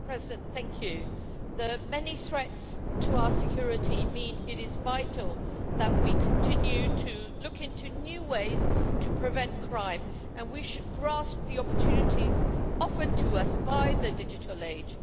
Madam President, the many threats to our security mean that it is vital that we continue to look into new ways to prevent crime, and we should grasp the opportunities offered to us by the digital age.